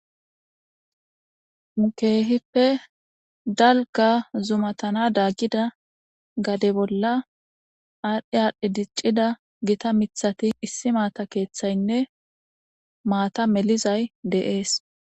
Keehippe dalga zumatana daggida gade bolla aadhdhe aadhdhe diccida gita mithati issi maata keeththaynne maata melizay deees.